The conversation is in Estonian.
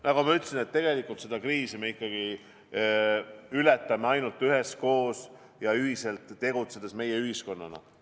Nagu ma ütlesin, et me saame selle kriisi ületada ainult üheskoos ja ühiselt tegutsedes meie-ühiskonnana.